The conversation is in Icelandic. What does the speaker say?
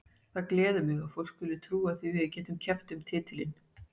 Það gleður mig að fólk skuli trúa því að við getum keppt um titilinn.